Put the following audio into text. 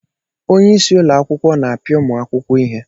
Onye isi ụlọ akwụkwọ na-apịa ụmụ akwụkwọ ihe.